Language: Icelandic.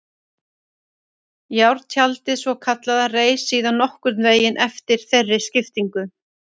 Járntjaldið svokallaða reis síðan nokkurn veginn eftir þeirri skiptingu.